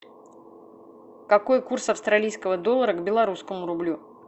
какой курс австралийского доллара к белорусскому рублю